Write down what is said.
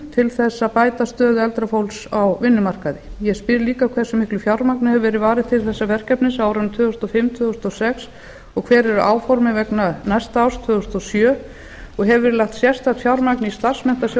fimm ára áætlun um aðgerðir sem nefndin lagði til annars hversu miklu fé hefur verið varið til þessa verkefnis á árunum tvö þúsund og fimm tvö þúsund og sex og hver eru áformin fyrir næsta ár hefur verið lagt sérstakt fjármagn í starfsmenntasjóð